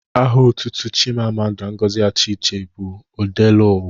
Aha otutu Chimamanda Ngozi Adiche bụ Odeluwa